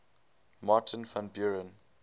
martin van buren